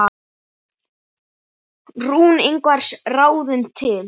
Rún Ingvars ráðin til.